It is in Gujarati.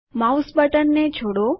માઉસ બટન ને છોડો